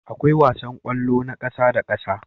Akwai wasan kwallo na ƙasa da ƙasa